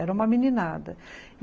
Era uma meninada.